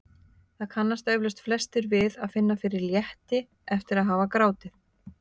Það kannast eflaust flestir við að finna fyrir létti eftir að hafa grátið.